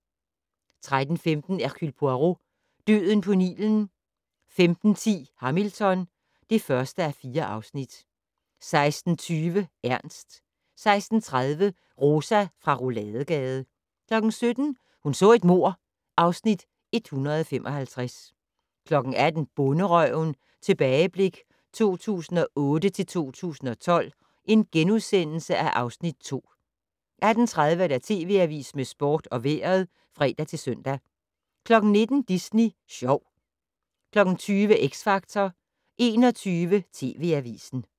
13:15: Hercule Poirot: Døden på Nilen 15:10: Hamilton (1:4) 16:20: Ernst 16:30: Rosa fra Rouladegade 17:00: Hun så et mord (Afs. 155) 18:00: Bonderøven - tilbageblik 2008-2012 (Afs. 2)* 18:30: TV Avisen med sport og vejret (fre-søn) 19:00: Disney Sjov 20:00: X Factor 21:00: TV Avisen